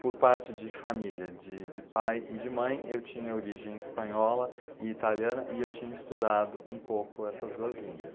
Por parte de família, de de pai e de mãe, eu tinha origem espanhola e italiana e eu tinha estudado um pouco essas duas línguas.